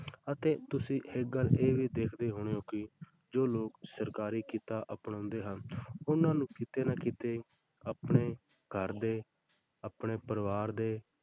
ਅਤੇ ਤੁਸੀਂ ਇੱਕ ਗੱਲ ਇਹ ਵੀ ਦੇਖਦੇ ਹੋਣੇ ਹੋ ਕਿ ਜੋ ਲੋਕ ਸਰਕਾਰੀ ਕਿੱਤਾ ਅਪਣਾਉਂਦੇ ਹਨ ਉਹਨਾਂ ਨੂੰ ਕਿਤੇ ਨਾ ਕਿਤੇ ਆਪਣੇ ਘਰ ਦੇ ਆਪਣੇ ਪਰਿਵਾਰ ਦੇ,